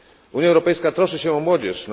Unia Europejska troszczy się o młodzież